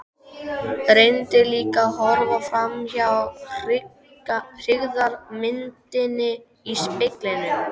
Reyndi líka að horfa framhjá hryggðarmyndinni í speglinum.